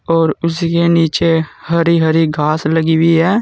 और उसके नीचे हरी हरी घास लगी हुई है।